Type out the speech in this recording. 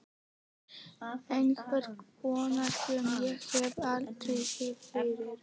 Einhverja konu sem ég hef aldrei séð fyrr.